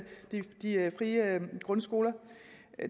de frie grundskoler